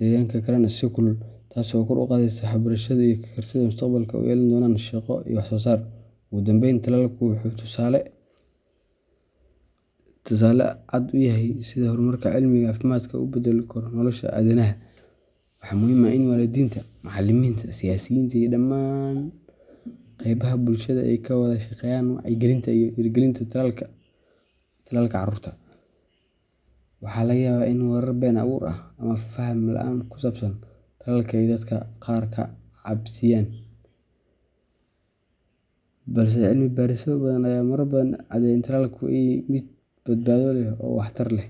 caafimaad qabaan, waxay si joogto ah u tagi karaan iskuul, taas oo kor u qaadaysa waxbarashada iyo kartida ay mustaqbalka u yeelan doonaan shaqo iyo wax-soosaar. Ugu dambayn, tallaalku wuxuu tusaale cad u yahay sida horumarka cilmiga caafimaadku uu u beddeli karo nolosha aadanaha. Waxaa muhiim ah in waalidiinta, macallimiinta, siyaasiyiinta iyo dhammaan qaybaha bulshada ay ka wada shaqeeyaan wacyigelinta iyo dhiirrigelinta tallaalka carruurta. Waxaa laga yaabaa in warar been abuur ah ama faham la’aan ku saabsan tallaalka ay dadka qaar ka cabsiiyaan, balse cilmi baarisyo badan ayaa marar badan cadeeyay in tallaalku yahay mid badbaado leh oo waxtar leh.